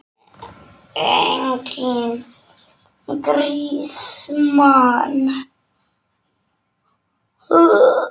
Enginn grís, mann!